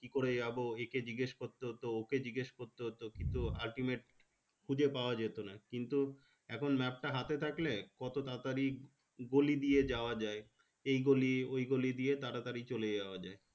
কি করে যাবো একে জিজ্ঞেস করতে হতো ওকে জিজ্ঞেস করতে হতো কিন্তু ultimate খুঁজে পাওয়া যেতো না কিন্তু এখন map তা হাতে থাকলে কত তাড়াতাড়ি গলি দিয়ে যাওয়া যায় এই গলি ওই গলি দিয়ে তাড়াতাড়ি চলে যাওয়া যায়